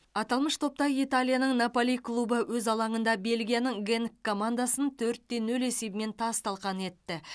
аталмыш топта италияның наполи клубы өз алаңында бельгияның генк командасын төрт те нөл есебімен тас талқан етті